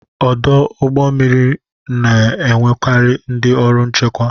Ọdụ ụgbọ mmiri na-enwekarị ndị ọrụ nchekwa.